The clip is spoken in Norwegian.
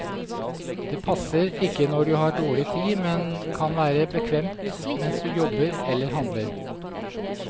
Det passer ikke når du har dårlig tid, men kan være bekvemt mens du jobber eller handler.